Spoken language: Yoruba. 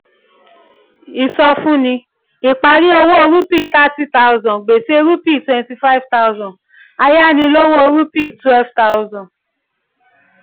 ìsọfúnni: ìparí owó rúpì thirty thousand gbèsè rúpì twenty five thousand ayánilówó rúpì twelve thousand